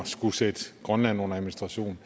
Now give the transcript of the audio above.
skulle sætte grønland under administration